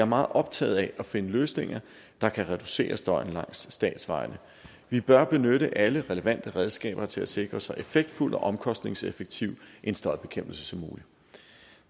meget optaget af at finde løsninger der kan reducere støjen langs statsvejene vi bør benytte alle relevante redskaber til at sikre så effektfuld og omkostningseffektiv en støjbekæmpelse som muligt